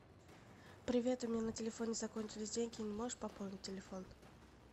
привет у меня на телефоне закончились деньги не можешь пополнить телефон